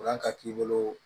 Kalan ka k'i bolo